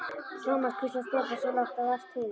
Thomas hvíslaði Stefán, svo lágt að vart heyrðist.